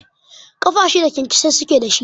Ƙafa shida kyankyasai suke da shi.